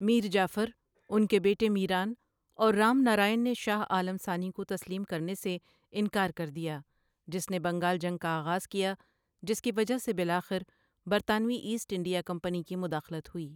میر جعفر، ان کے بیٹے میران اور رام نراین نے شاہ عالم ثانی کو تسلیم کرنے سے انکار کر دیا، جس نے بنگال جنگ کا آغاز کیا جس کی وجہ سے بالآخر برطانوی ایسٹ انڈیا کمپنی کی مداخلت ہوئی۔